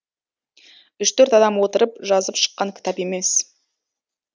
үш төрт адам отырып жазып шыққан кітап емес